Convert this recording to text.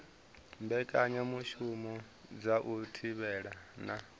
mbekanyamushumo dza u thivhela na